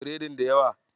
Biredin da yawa?